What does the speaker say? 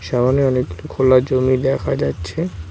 সামনে অনেক খোলা জমি দেখা যাচ্ছে।